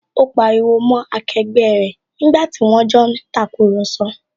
Ó pariwo mọ́ akẹgbẹ́ rẹ̀ nígbàtí wón jọ ń tàkurọ̀sọ